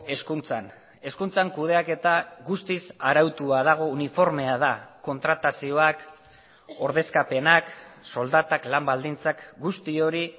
hezkuntzan hezkuntzan kudeaketa guztiz arautua dago uniformea da kontratazioak ordezkapenak soldatak lan baldintzak guzti hori